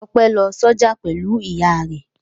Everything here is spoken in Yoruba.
Ọpẹ́ lọ sọ́jà pẹ̀lú ìyá rẹ̀.